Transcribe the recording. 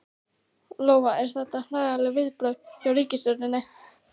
Lóa: Eru þetta eðlileg viðbrögð hjá ríkisstjórninni?